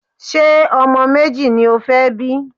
Ṣé ọmọ méjì ni o fẹ́ bí?